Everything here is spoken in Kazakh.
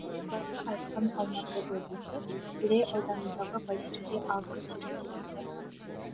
елбасы айтқан алматы облысы іле ауданындағы байсерке агро серіктестігі